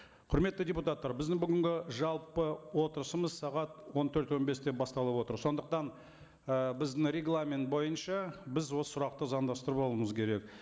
құрметті депутаттар біздің бүгінгі жалпы отырысымыз сағат он төрт он бесте басталып отыр сондықтан і біздің регламент бойынша біз осы сұрақты заңдастырып алуымыз керек